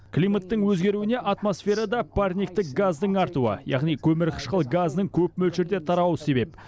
климаттың өзгеруіне атмосферада парниктік газдың артуы яғни көмірқышқыл газының көп мөлшерде тарауы себеп